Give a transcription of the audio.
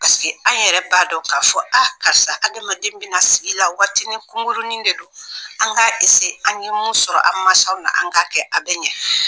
an yɛrɛ b'a dɔn k'a fɔ a karisa adamaden bɛna sigi la waati nin kunkurunin de don an k'a an ye mun sɔrɔ an mansaw na an k'a kɛ a bɛ ɲɛ